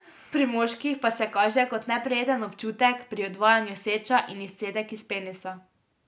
Pri moških pa se kaže kot neprijeten občutek pri odvajanju seča in izcedek iz penisa.